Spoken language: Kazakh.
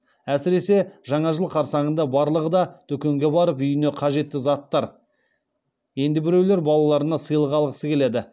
әсіресе жаңа жыл қарсаңында барлығы да дүкенге барып үйіне қажетті заттар енді біреулер балалаларына сыйлық алғысы келеді